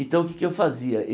Então, o que é que eu fazia?